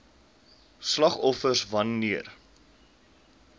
slagoffers wan neer